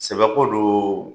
Sɛbɛ ko don.